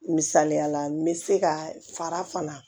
Misaliyala n bɛ se ka fara fana